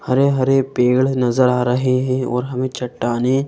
हरे हरे पेड़ नजर आ रहे हैं और हमें चट्टानें--